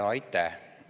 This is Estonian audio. Aitäh!